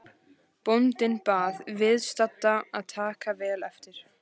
Bóndinn bað viðstadda að taka vel eftir.